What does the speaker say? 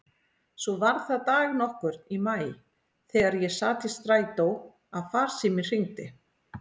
Svo var það dag nokkurn í maí þegar ég sat í strætó að farsíminn hringdi.